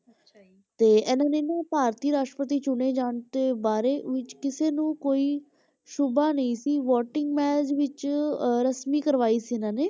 ਤੇ ਇਹਨਾਂ ਨੇ ਨਾ ਭਾਰਤੀ ਰਾਸ਼ਟਰਪਤੀ ਚੁਣੇ ਜਾਣ ਦੇ ਬਾਰੇ ਵਿੱਚ ਕਿਸੇ ਨੂੰ ਕੋਈ ਸ਼ੁਬਾ ਨਹੀਂ ਸੀ voting ਵਿੱਚ ਰਸਮੀ ਕਰਵਾਈ ਸੀ ਇਹਨਾਂ ਨੇ,